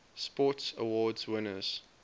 sports awards winners